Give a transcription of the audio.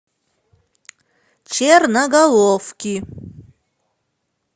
черноголовки